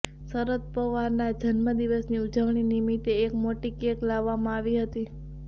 શરદ પવારના જન્મ દિવસની ઉજવણી નિમિત્તે એક મોટી કેક લાવવામાં આવી હતી